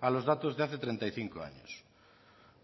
a los datos de hace treinta y cinco años